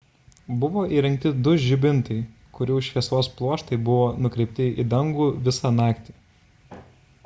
buvo įrengti du žibintai kurių šviesos pluoštai buvo nukreipti į dangų visą naktį